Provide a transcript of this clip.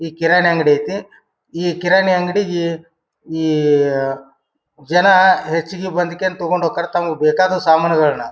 ಈ ಕಿರಾಣಿ ಅಂಗಡಿ ಐತಿ ಕಿರಾಣಿ ಅಂಗಡಿಗಿ ಇಯಾ ಜನ ಹೆಚ್ಚಗೆ ಬಂದ್ ಕೆನ್ ತೊಕೊಂಡ್ ಹೂಕರ್. ತಮ್ಮಗ್ ಬೇಕಾದ್ ಸಾಮಾನ್ ಗಳನ್ನ--